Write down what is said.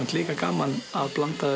líka gaman að blanda